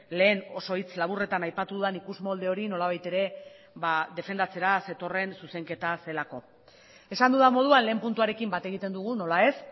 lehen oso hitz laburretan aipatu dudan ikusmolde hori nolabait ere defendatzera zetorren zuzenketa zelako esan dudan moduan lehen puntuarekin bat egiten dugu nola ez